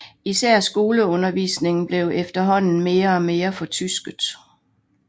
Især skoleundervisningen blev efterhånden mere og mere fortysket